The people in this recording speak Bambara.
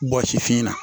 Bɔ sifinna